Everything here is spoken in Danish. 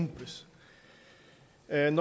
at en